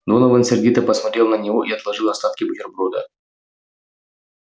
донован сердито посмотрел на него и отложил остатки бутерброда